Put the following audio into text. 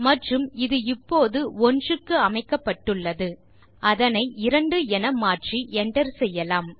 மற்றும் அது இப்போது 1 க்கு அமைக்கப்பட்டுள்ளது அதனை 2 என மாற்றி என்டர் செய்யலாம்